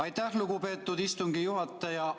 Aitäh, lugupeetud istungi juhataja!